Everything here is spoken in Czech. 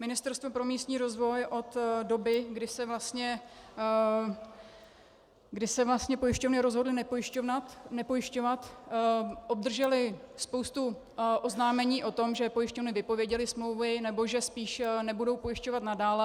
Ministerstvo pro místní rozvoj od doby, kdy se vlastně pojišťovny rozhodly nepojišťovat, obdrželo spoustu oznámení o tom, že pojišťovny vypověděly smlouvy, nebo že spíše nebudou pojišťovat nadále.